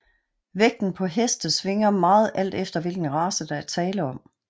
Vægten på heste svinger meget alt efter hvilken race der er tale om